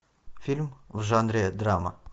фильм в жанре драма